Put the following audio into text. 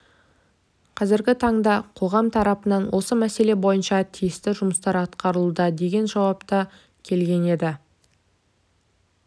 қазіргі таңда қоғам тарапынан осы мәселе бойынша тиісті жұмыстар атқарылуда деген жауап та келген еді